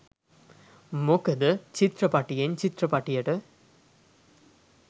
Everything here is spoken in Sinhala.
මොකද චිත්‍රපටියෙන් චිත්‍රපටියට